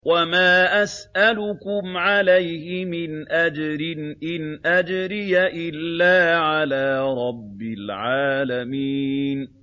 وَمَا أَسْأَلُكُمْ عَلَيْهِ مِنْ أَجْرٍ ۖ إِنْ أَجْرِيَ إِلَّا عَلَىٰ رَبِّ الْعَالَمِينَ